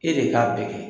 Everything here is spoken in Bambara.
E de k'a bɛɛ kɛ